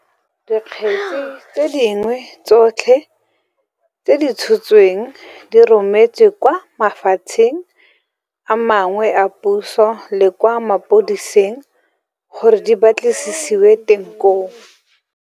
Dikgetse tse dingwe tsotlhe tse di tshotsweng di rometswe kwa mafapheng a mangwe a puso le kwa mapodising gore di ba tlisisiwe teng koo.